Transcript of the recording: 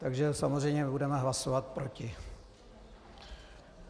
Takže samozřejmě budeme hlasovat proti.